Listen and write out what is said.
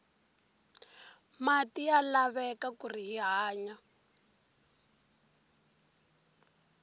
mati ya laveka kuri hi hanya